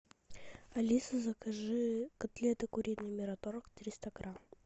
алиса закажи котлеты куриные мираторг триста грамм